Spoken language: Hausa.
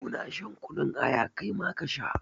Mu na shan kunun aya, kai ma ka sha.